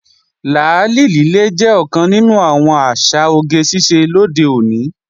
Làálì lílé jẹ́ ọ̀kan nínú àwọn àṣà oge ṣíṣe lóde òní